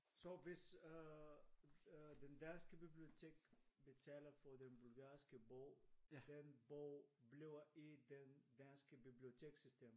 Så hvis øh det danske biblitotek betaler for den bulgarske bog den bog bliver i det danske bibliotekssystem